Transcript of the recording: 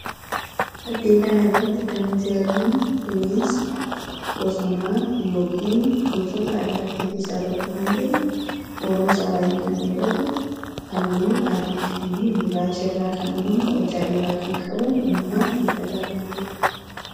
Fakkii kana irratti kan nuti arginu bineensa bosonaa yookiin gosoota allaattii keessaa tokko kan ta'e uuruun isaa baay'ee kan dheeratu halluu adii fi gurraacha irraa kan uumame hojjaa dheeraa kan qabu uumamaan midhagaa kan ta'edha